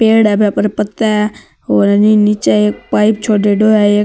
पेड़ है बा पर पत्ते है और है नि निचे एक पाइप छोरेडो है एक --